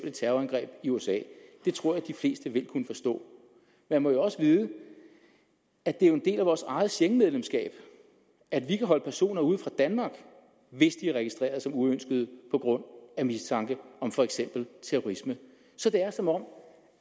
et terrorangreb i usa det tror jeg de fleste vil kunne forstå man må jo også vide at det er en del af vores eget schengenmedlemskab at vi kan holde personer ude af danmark hvis de er registreret som uønskede på grund af mistanke om for eksempel terrorisme så det er som om